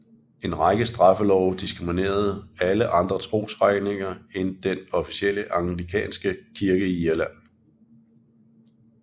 En række straffelove diskriminerede alle andre trosretninger end den officielle anglikanske kirke i Irland